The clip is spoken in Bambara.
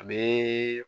A bɛ